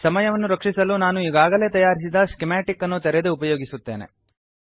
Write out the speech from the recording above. ಸಮಯವನ್ನು ರಕ್ಷಿಸಲು ನಾನು ಈಗಾಗಲೇ ತಯಾರಿಸಿದ ಸ್ಕಿಮಾಟಿಕ್ ಅನ್ನು ತೆರೆದು ಉಪಯೋಗಿಸುತ್ತೇನೆ